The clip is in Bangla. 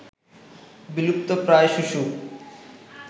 বিলুপ্ত প্রায় শুশুক